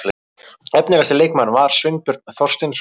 Efnilegasti leikmaðurinn var Sveinbjörn Þorsteinsson.